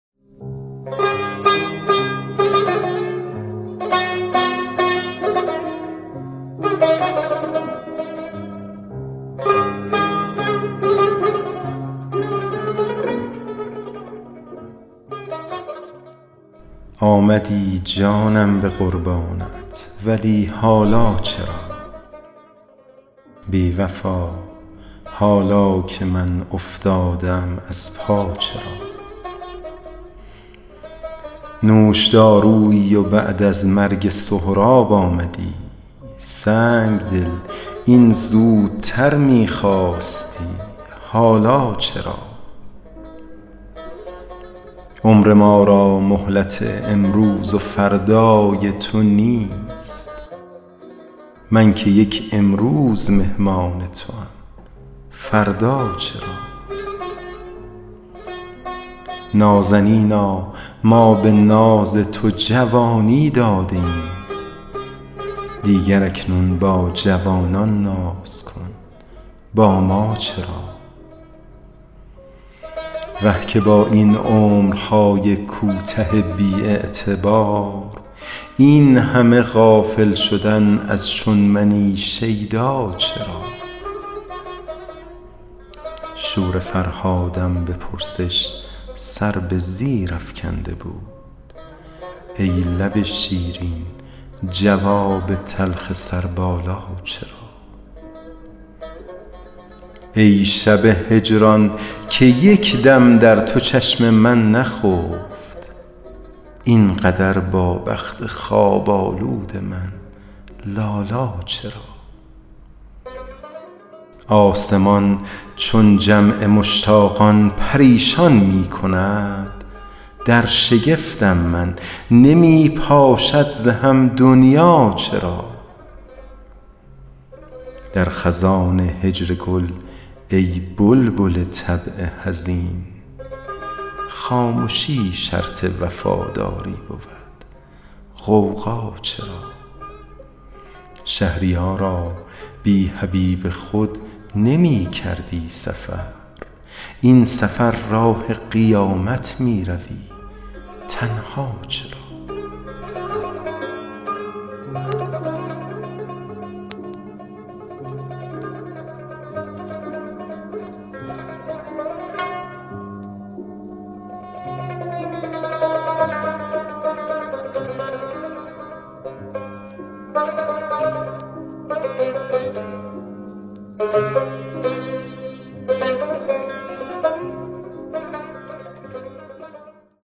آمدی جانم به قربانت ولی حالا چرا بی وفا حالا که من افتاده ام از پا چرا نوشدارویی و بعد از مرگ سهراب آمدی سنگ دل این زودتر می خواستی حالا چرا عمر ما را مهلت امروز و فردای تو نیست من که یک امروز مهمان توام فردا چرا نازنینا ما به ناز تو جوانی داده ایم دیگر اکنون با جوانان ناز کن با ما چرا وه که با این عمرهای کوته بی اعتبار این همه غافل شدن از چون منی شیدا چرا شور فرهادم به پرسش سر به زیر افکنده بود ای لب شیرین جواب تلخ سربالا چرا ای شب هجران که یک دم در تو چشم من نخفت این قدر با بخت خواب آلود من لالا چرا آسمان چون جمع مشتاقان پریشان می کند در شگفتم من نمی پاشد ز هم دنیا چرا در خزان هجر گل ای بلبل طبع حزین خامشی شرط وفاداری بود غوغا چرا شهریارا بی حبیب خود نمی کردی سفر این سفر راه قیامت می روی تنها چرا